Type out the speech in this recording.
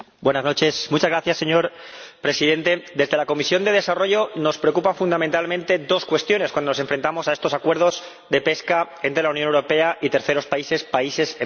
Señor Presidente, en la Comisión de Desarrollo nos preocupan fundamentalmente dos cuestiones cuando nos enfrentamos a estos acuerdos de pesca entre la Unión Europea y terceros países, países en vías de desarrollo.